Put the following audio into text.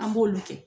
An b'olu kɛ